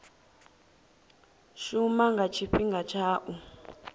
shuma nga tshifhinga tsha u